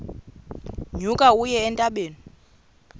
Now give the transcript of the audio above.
nyuka uye entabeni